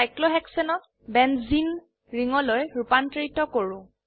সাইক্লোহেক্সেনক বেঞ্জেনে বেঞ্জিন ৰিঙলৈ ৰুপান্তৰিত কৰো